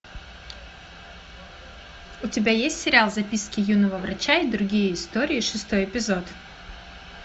у тебя есть сериал записки юного врача и другие истории шестой эпизод